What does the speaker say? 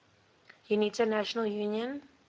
unita national union